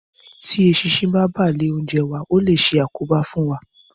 Tí eṣinṣin bá bà lé oúnjẹ wa, ó lè ṣe àkóbá fún wa